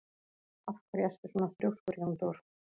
Af hverju ertu svona þrjóskur, Jóndór?